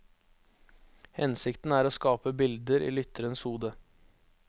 Hensikten er å skape bilder i lytterens hode.